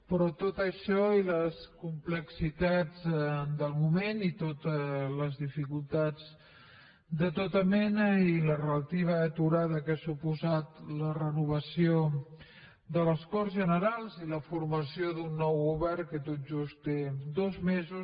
però tot això i les complexitats del moment i les dificultats de tota mena i la relativa aturada que han suposat la renovació de les corts generals i la formació d’un nou govern que tot just té dos mesos